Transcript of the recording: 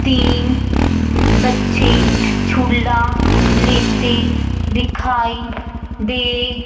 तीन ब बच्चे झूला लेते दिखाई दे--